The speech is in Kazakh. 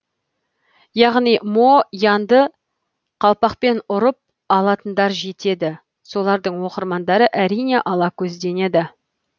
яғни мо янды қалпақпен ұрып алатындар жетеді солардың оқырмандары әрине ала көзденеді